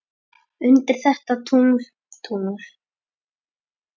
undir þetta tungl, tungl.